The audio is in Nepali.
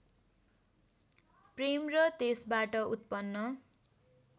प्रेम र त्यसबाट उत्पन्न